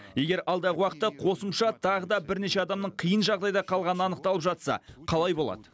егер алдағы уақытта қосымша тағы да бірнеше адамның қиын жағдайда қалғаны анықталып жатса қалай болады